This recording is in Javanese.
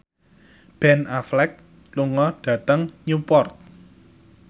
Ben Affleck lunga dhateng Newport